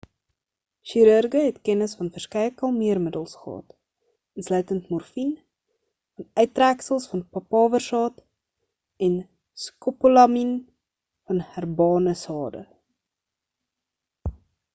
chirurge het kennis van verskeie kalmeermiddels gehad insluitend morfien van uittreksels van papawersaad en scopolamien van herbane sade